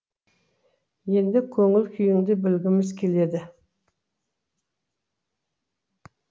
енді көңіл күйіңді білгіміз келеді